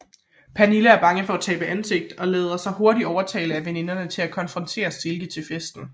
Pernille er bange for at tabe ansigt og lader sig hurtigt overtale af veninderne til at konfrontere Silke til festen